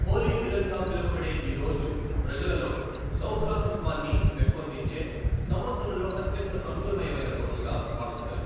హోలీ మిలన్' గా పిలువబడే ఈ రోజు, ప్రజలలో సౌభ్రాతృత్వాన్ని పెంపొందించే, సంవత్సరంలో అత్యంత రంగులమయమైన రోజుగా భావిస్తారు.